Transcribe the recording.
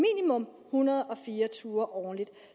hundrede og fire ture årligt